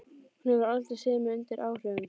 Hún hefur aldrei séð mig undir áhrifum.